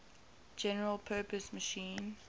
general purpose machine